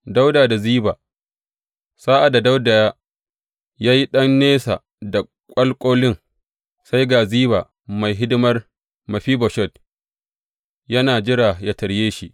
Dawuda da Ziba Sa’ad da Dawuda ya yi ɗan nesa da ƙwanƙolin, sai ga Ziba mai hidimar Mefiboshet, yana jira yă tarye shi.